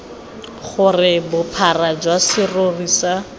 gore bophara jwa serori sa